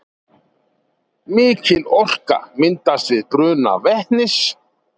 mikil orka myndast við bruna vetnis